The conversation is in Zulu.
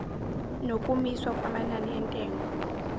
nokumiswa kwamanani entengo